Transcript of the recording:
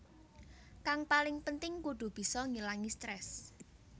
Kang paling penting kudu bisa ngilangi stres